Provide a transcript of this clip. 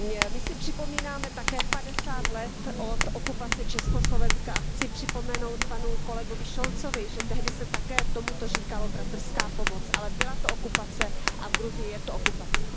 My si připomínáme také 50 let od okupace Československa a chci připomenout panu kolegovi Scholzovi, že tehdy se také tomuto říkalo bratrská pomoc, ale byla to okupace a v Gruzii je to okupace.